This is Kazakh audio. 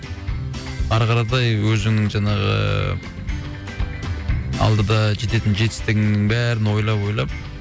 ары қаратай өзіңнің жаңағы ыыы алдыда жететін жетістігіңнің бәрін ойлап ойлап